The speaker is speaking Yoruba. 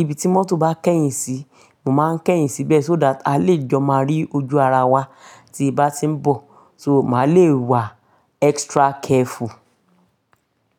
Ibi tí mọ́tò bá kẹ̀yìn sí, mo máa ń kẹ̀yìn síbẹ̀, so that àá lè jọ máa rí ojú ara wa tí n bá ti ń bọ̀, màá lè wà extra careful.